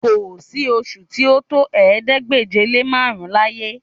Kò sí oṣù tí ó tó ̀ẹẹ́dégbèje-lé-márùn-ún láyé